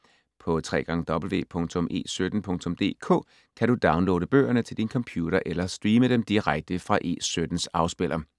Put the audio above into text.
På www.e17.dk kan du downloade bøgerne til din computer eller streame dem direkte fra E17s afspiller.